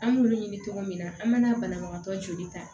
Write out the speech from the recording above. An b'olu ɲini cogo min na an mana banabagatɔ joli ta